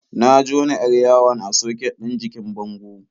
Na jona 'yar yawon a soket ɗin jikin bango.